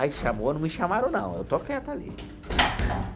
Aí chamou, não me chamaram não, eu estou quieto ali.